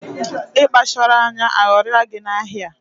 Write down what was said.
Ị kpacharọ anya, aghọrịa gị na ahịa a